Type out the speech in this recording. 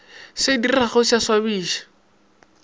se diregago se a swabiša